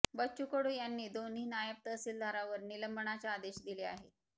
बच्चू कडू यांनी दोन्ही नायब तहसीलदारावर निलंबनाचे आदेश दिले आहे